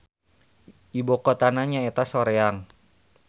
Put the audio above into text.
Ibukotana nyaeta Soreang.